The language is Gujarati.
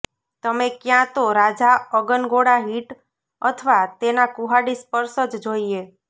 તમે ક્યાં તો રાજા અગનગોળા હિટ અથવા તેના કુહાડી સ્પર્શ જ જોઈએ